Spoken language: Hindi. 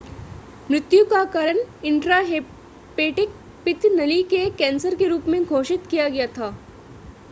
मृत्यु का कारण इंट्राहेपेटिक पित्त नली के कैंसर के रूप में घोषित किया गया था